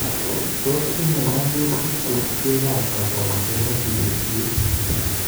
Tos tinye nyasyutik kerichek ab kasari chebo sigisyet?